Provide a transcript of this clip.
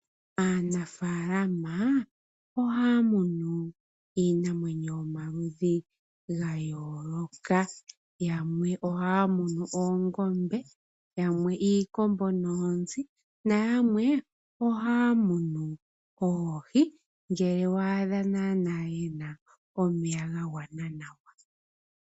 Aanafaalama ohaya munu iinamwenyo yomaludhi ga yooloka. Yamwe ohaya munu oongombe, yamwe iikombo noonzi na yamwe ohaya munu oohi ngele wa adha naanaa yena omeya ga gwana nawa.